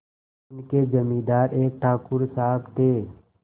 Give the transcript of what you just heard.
उनके जमींदार एक ठाकुर साहब थे